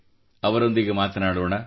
ಅವರೊಂದಿಗೆ ಮಾತನಾಡೋಣ